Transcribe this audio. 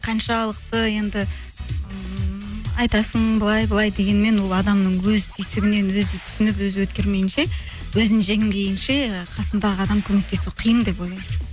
қаншалықты енді ммм айтасың былай былай дегенмен ол адамның өз түйсігінен өзі түсініп өзі өткермейінше өзін жеңбейінше қасындағы адам көмектесу қиын деп ойлаймын